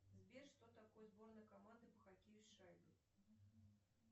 сбер что такое сборная команда по хоккею с шайбой